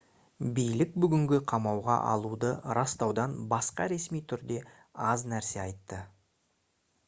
билік бүгінгі қамауға алуды растаудан басқа ресми түрде аз нәрсе айтты